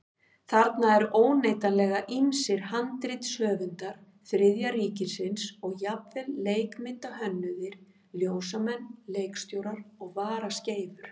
Þarna eru óneitanlega ýmsir handritshöfundar Þriðja ríkisins og jafnvel leikmyndahönnuðir, ljósamenn, leikstjórar og varaskeifur.